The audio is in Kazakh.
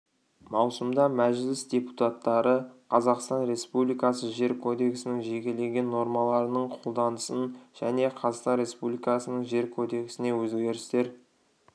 маусымда мәжіліс депутатары қазақстан республикасы жер кодексінің жекелеген нормаларының қолданысын және қазақстан республикасының жер кодексіне өзгерістер